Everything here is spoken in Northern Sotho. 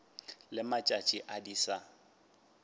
le matšatši a di sa